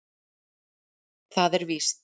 Það er víst.